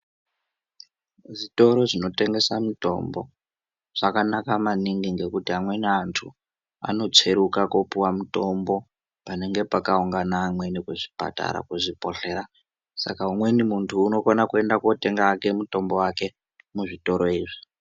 Zvitoro zvinotengese mitombo zvakanaka maningi ngekuti amweni antu anotsveruka kunopiwa mitombo panenge pakuangana amweni antu kuzvipatara saka umweni muntu unokone kuenda hake kunotenga mutombo wake muzvitoro izvi.